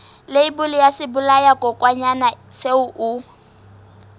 leibole ya sebolayakokwanyana seo o